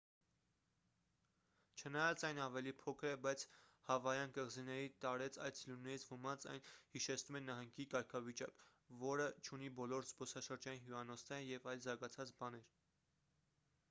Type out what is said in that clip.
չնայած այն ավելի փոքր է բայց հավայան կղզիների տարեց այցելուներից ոմանց այն հիշեցնում է նահանգի կարգավիճակ որը չունի բոլոր զբոսաշրջային հյուրանոցները և այլ զարգացած բաներ